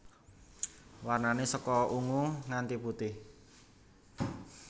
Warnané saka ungu nganti putih